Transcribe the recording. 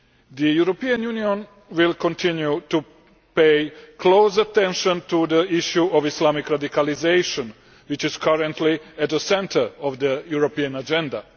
The European Union will continue to pay close attention to the issue of Islamic radicalisation, which is currently at the centre of the European agenda.